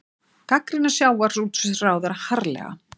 Gagnrýna sjávarútvegsráðherra harðlega